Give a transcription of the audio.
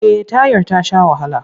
Eh tayar ta sha wahala.